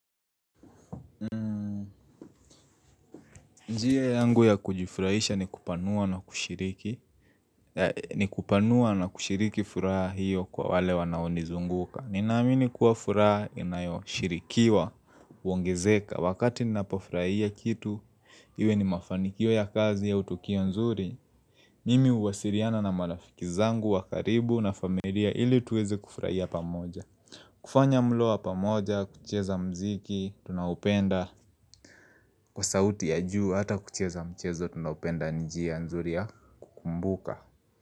Njia yangu ya kujifurahisha ni kupanua na kushuriki ni kupanua na kushiriki furaha hiyo kwa wale wanao nizunguka Ninaamini kuwa furaha inayoshirikiwa, uongezeka Wakati ninapofurahia kitu, iwe ni mafanikio ya kazi ya utukio nzuri Mimi huwasiriana na marafiki zangu, wa karibu na familia ili tuweze kufurahia pamoja kufanya mlo wa pamoja, kucheza mziki, tunaoupenda Kwa sauti ya juu hata kucheza mchezo tunaopenda njia nzuri ya kukumbuka.